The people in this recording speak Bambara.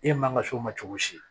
E man ka s'o ma cogo si